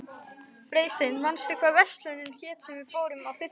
Freysteinn, manstu hvað verslunin hét sem við fórum í á fimmtudaginn?